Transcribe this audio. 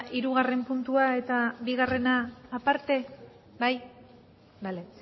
hirugarren puntua eta bigarrena aparte bai bale